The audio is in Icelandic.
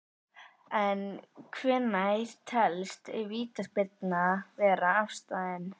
En hvenær telst vítaspyrna vera afstaðin?